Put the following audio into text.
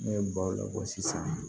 Ne ye baw de bɔ sisan